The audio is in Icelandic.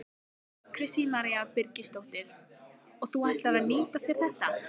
Kristín María Birgisdóttir: Og þú ætlar að nýta þér þetta?